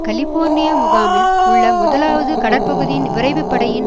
California முகாமில் உள்ள முதலாவது கடற்பகுதியின் விரைவு படையின்